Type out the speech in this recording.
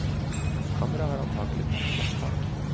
Kammeret har antakelig hatt flatt tak.